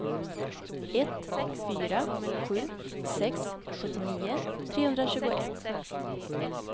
ett fyra sju sex sjuttionio trehundratjugoett